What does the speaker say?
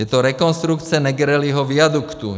Je to rekonstrukce Negrelliho viaduktu.